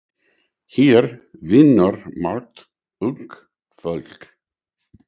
Hér vinnur margt ungt fólk.